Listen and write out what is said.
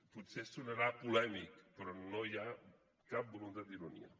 potser sonarà polèmic però no hi ha cap voluntat d’ironia